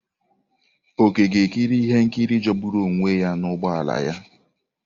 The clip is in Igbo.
Oke ga-ekiri ihe nkiri jọgburu onwe ya n'ụgbọ ala ya.